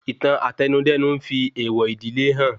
Ìtàn Àtẹnudẹ́nu n fi èèwọ̀ ìdílé hàn